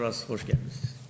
Bir daha, xoş gəlmisiniz.